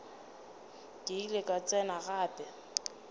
ke ile ka tsena gape